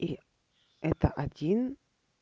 и это один